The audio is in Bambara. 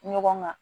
Ɲɔgɔn ma